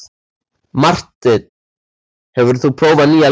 Marteinn, hefur þú prófað nýja leikinn?